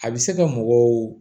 A bɛ se ka mɔgɔw